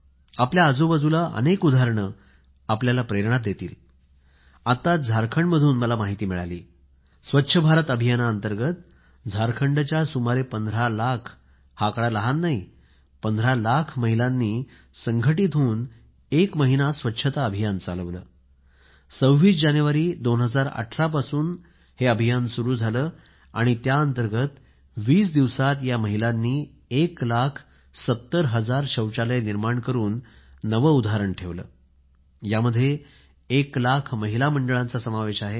आपल्या आजूबाजूला अनेक उदाहरणे आपल्याला प्रेरणा देतील आताच झारखंडमधून मला माहिती मिळाली स्वच्छ भारत अभियान अंतर्गत झारखंडच्या सुमारे 15 लाख हा आकडा लहान नाही या महिलांनी संघटीत होऊन एक महिना स्वच्छता अभियान चालवले 26 जानेवारी 2018 पासून सुरु झालेल्या या अभियाना अंतर्गत 20 दिवसात या महिलांनी 1 लाख 70 हजार शौचालय निर्माण करून नवे उदाहरण ठेवले यामध्ये 1 लाख महिला मंडळाचा समावेश आहे